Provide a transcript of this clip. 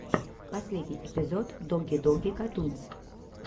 последний эпизод доги доги катунс